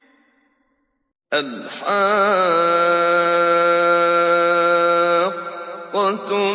الْحَاقَّةُ